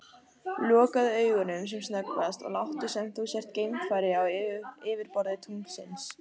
Lokaðu augunum sem snöggvast og láttu sem þú sért geimfari á yfirborði tunglsins.